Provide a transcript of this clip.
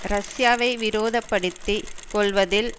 ரஷ்யாவை விரோதப்படுத்தி கொள்வதில்